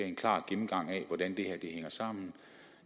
en klar gennemgang af hvordan det her hænger sammen og